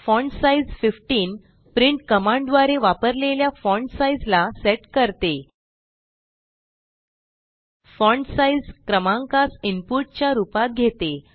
font size 15 print कमांडद्वारे वपारलेल्या font size ला सेट करते फॉन्टसाइज क्रॅमांकास इनपुट च्या रूपात घेते